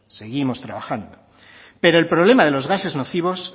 seguimos trabajando pero el problema de los gases nocivos